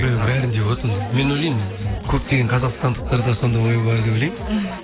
бәрінде болады ондай мен ойлаймын көптеген қазақстандықтарда сондай ой бар деп ойлаймын мхм